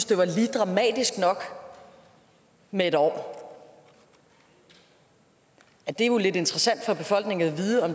det var lige dramatisk nok med en år det er jo lidt interessant for befolkningen at vide om